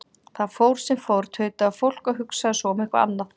Það fór sem fór, tautaði fólk, og hugsaði svo um eitthvað annað.